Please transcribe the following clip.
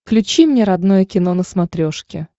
включи мне родное кино на смотрешке